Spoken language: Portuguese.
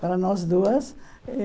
Para nós duas.